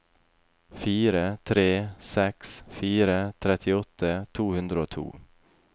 fire tre seks fire trettiåtte to hundre og to